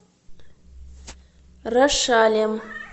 рошалем